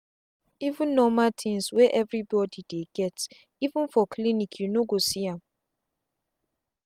even norma things wey every body dey geteven for clinic you no go see am.